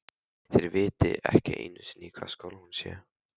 Þeir viti ekki einu sinni í hvaða skóla hún sé.